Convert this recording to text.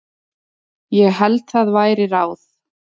Ég held það væri ráð.